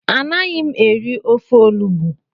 Anaghị m eri ofe olugbo